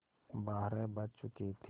बारह बज चुके थे